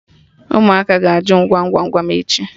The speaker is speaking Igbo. Ụmụaka ga-ajụ m Gwam Gwam Gwam echi